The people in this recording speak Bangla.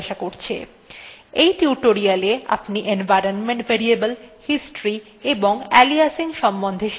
দেখুন test1 নিঃশব্দে ডিলিট হয়ে গেলেও system test2 ডিলিট করার পূর্বে জিজ্ঞাসা করে